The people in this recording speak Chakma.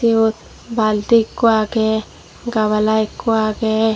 iyot balti ekko agey gabala ekko agey.